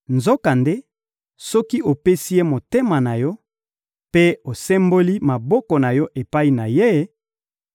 Nzokande, soki opesi Ye motema na yo mpe osemboli maboko na yo epai na Ye,